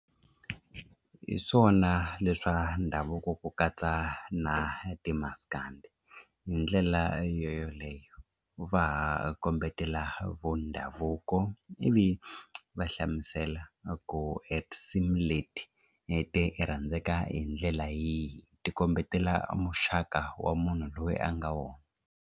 Hi swona leswa ndhavuko ku katsa na timaskandi hi ndlela yeleyo va ha kombetela vo ndhavuko loko ivi va hlamusela ku e tinsimu leti e ti rhandzaka hi ndlela yihi ti kombetela muxaka wa munhu loyi a nga wona.